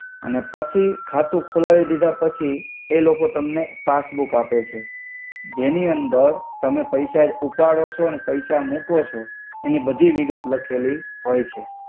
અને પછી ખાતુ ખોલ્લવિ દિધા પછી એ લોકો તમ્ને પાસ્સ્બૂ આપે છે જેનિ અંદર તમે પૈસા ઉપાડો છો અને પૈસા મુકો છો એનિ બધી વિગત એમા હોયછે.